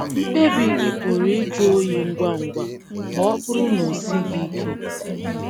Mkpebi gị pụrụ ịjụ oyi ngwa ngwa ma ọ bụrụ na o sighị ike.